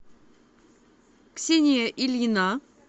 ксения ильина